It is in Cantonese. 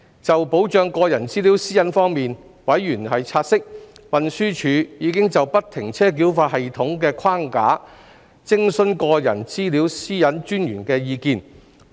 就保障個人資料私隱方面，委員察悉，運輸署已就不停車繳費系統的框架徵詢個人資料私隱專員的意見。